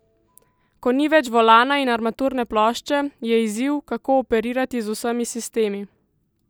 Ko ni več volana in armaturne plošče, je izziv, kako operirati z vsemi sistemi?